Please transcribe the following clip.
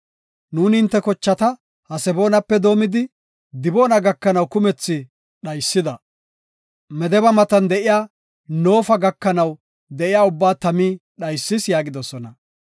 Nuuni hinte kochata Haseboonape doomidi, Diboona gakanaw kumethi dhaysida. Medeba matan de7iya Noofa gakanaw de7iya ubbaa tami dhaysis” yaagidosona.